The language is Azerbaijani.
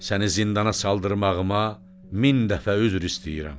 Səni zindana saldırmağıma min dəfə üzr istəyirəm.